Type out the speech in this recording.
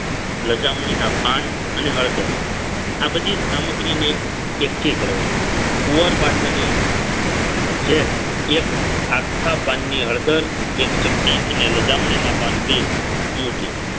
લજામણી ના પાન અને હળદર આ બધી સામગ્રીને એકઠી કરવાની કુવારપાઠાની જેલ એક આખા પાનની હળદર એક ચપટી અને લજામણીના પાન બે મુઠી